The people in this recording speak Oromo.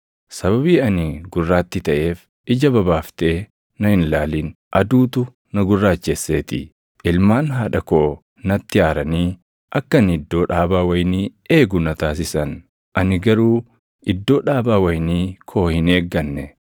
Sababii ani gurraattii taʼeef, ija babaaftee na hin ilaalin; aduutu na gurraachesseetii. Ilmaan haadha koo natti aaranii akka ani iddoo dhaabaa wayinii eegu na taasisan; ani garuu iddoo dhaabaa wayinii koo hin eegganne.